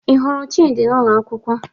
Ị hụrụ Chidi n'ụlọ akwụkwọ?